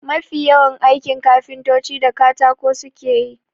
Mafi yawan aikin kafintoci da katako suke yi.